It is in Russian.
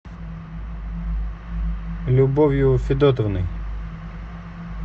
любовью федотовной